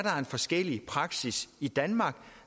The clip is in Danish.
forskellig praksis i danmark